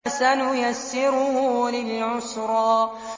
فَسَنُيَسِّرُهُ لِلْعُسْرَىٰ